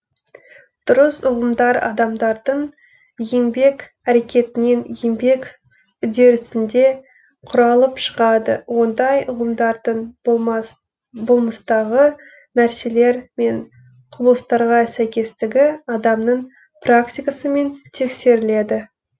дұрыс ұғымдар адамдардың еңбек әрекетінен еңбек үдерісінде құралып шығады ондай ұғымдардың болмыстағы нәрселер мен құбылыстарға сәйкестігі адамның практикасымен тексеріледі